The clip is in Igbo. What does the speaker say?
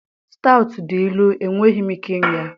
stout dị ilu, enweghị m ike ịṅụ ya.